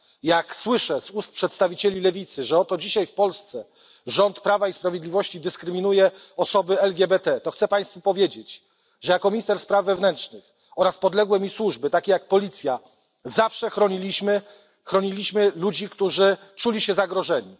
Jak słyszę z ust przedstawicieli lewicy, że oto dzisiaj w Polsce rząd Prawa i Sprawiedliwości dyskryminuje osoby LGBT, to chcę Państwu powiedzieć, że jako minister spraw wewnętrznych ja sam oraz podległe mi służby, takie jak policja, zawsze chroniliśmy ludzi, którzy czuli się zagrożeni.